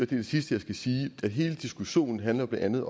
det sidste jeg skal sige hele diskussionen blandt andet